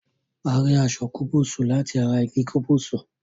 A rí aṣọ kubusu lati ará igi kúbúsú